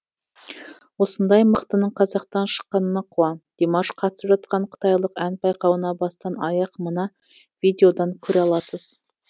осындай мықтының қазақтан шыққанына қуан димаш қатысып жатқан қытайлық ән байқауына бастан аяқ мына видеодан көре аласыз